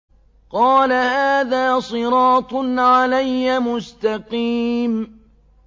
قَالَ هَٰذَا صِرَاطٌ عَلَيَّ مُسْتَقِيمٌ